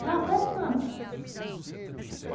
Estava pescando.